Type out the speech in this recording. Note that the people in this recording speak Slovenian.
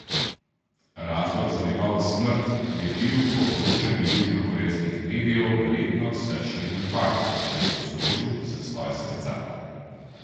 Razlog za njegovo smrt je bil je po poročanju južnokorejskih medijev verjetno srčni infarkt, ki je povzročil zastoj srca.